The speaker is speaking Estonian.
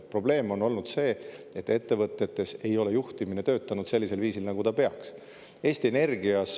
Probleem on olnud see, et ettevõtetes ei ole juhtimine töötanud sellisel viisil, nagu peaks.